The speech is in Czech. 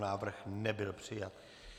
Návrh nebyl přijat.